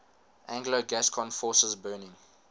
anglo gascon forces burning